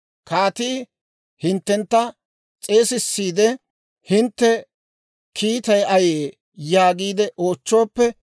Kaatii hinttentta s'eesissiide, ‹Hintte kiittay ayee?› yaagiide oochchooppe,